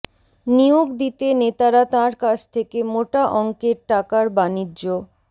নিয়োগ দিতে নেতারা তাঁর কাছ থেকে মোটা অঙ্কের টাকার বাণিজ্য